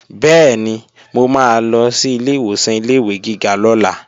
Bẹ́ẹ̀ni, mo máa lọ sí ilé ìwòsàn ilé-ìwé gíga lọ́la